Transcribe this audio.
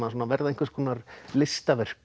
verða einhvers konar listaverk